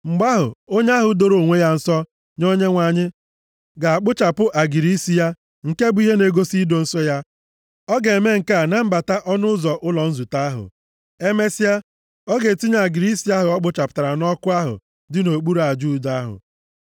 “ ‘Mgbe ahụ, onye ahụ doro onwe ya nsọ nye Onyenwe anyị ga-akpụchapụ agịrị isi ya nke bụ ihe na-egosi ido nsọ ya. Ọ ga-eme nke a na mbata ọnụ ụzọ ụlọ nzute ahụ. Emesịa, ọ ga-etinye agịrị isi ahụ ọ kpụchapụtara nʼọkụ ahụ dị nʼokpuru aja udo ahụ.